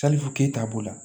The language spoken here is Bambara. ke t'a bolo